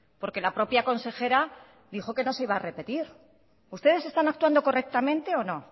porque la propia consejera dijo que no se iba a repetir ustedes están actuando correctamente o no